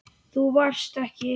Þú varst ekki.